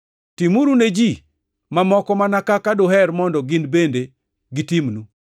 Timuru ne ji mamoko mana kaka duher mondo gin bende gitimnu.